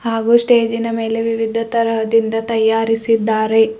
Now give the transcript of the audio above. ಹಾಗೂ ಸ್ಟೇಜಿನ ಮೇಲೆ ವಿವಿಧ ತರಹದಿಂದ ತಯಾರಿಸಿದ್ದಾರೆ.